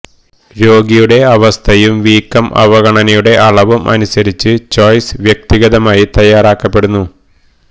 രോഗിയുടെ അവസ്ഥയും വീക്കം അവഗണനയുടെ അളവും അനുസരിച്ച് ചോയ്സ് വ്യക്തിഗതമായി തയ്യാറാക്കപ്പെടുന്നു